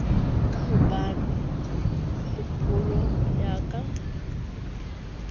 ka hobona kgolong ya ka